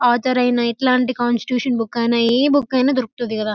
అంతర్ అయిన ఇట్లాంటి కాన్స్టిట్యూషన్ బుక్ అయినా ఏ బుక్ ఐయినా దొరకుతది కదా --